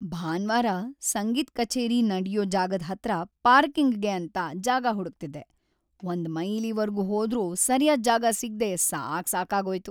ಭಾನ್ವಾರ ‌ಸಂಗೀತ್ ಕಛೇರಿ ನಡ್ಯೋ ಜಾಗದ್‌ ಹತ್ರ ಪಾರ್ಕಿಂಗ್‌ಗೆ ಅಂತ ಜಾಗ ಹುಡುಕ್ತಿದ್ದೆ, ಒಂದ್‌ ಮೈಲಿವರ್ಗೂ ಹೋದ್ರೂ ಸರ್ಯಾದ್‌ ಜಾಗ ಸಿಗ್ದೇ ಸಾಕ್‌ಸಾಕಾಗೋಯ್ತು.